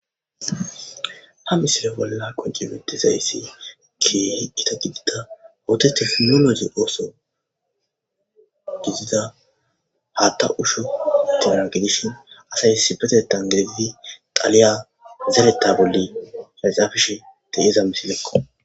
Ha missile bolla qonciutidays kehi Gita gidida ottethi nunazi osso gidida hatha usho gidon gidishin assay issippe de'di xaliya zeretha bolla cacapishe de'zza missileko.